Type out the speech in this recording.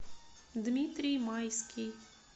дмитрий майский